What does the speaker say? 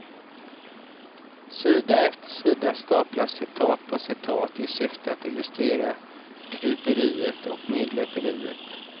Sida efter sida staplas citat på citat, i syfte att illustrera kryperiet och medlöperiet.